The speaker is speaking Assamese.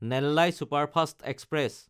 Nellai superfast express